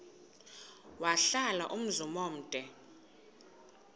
wahlala umzum omde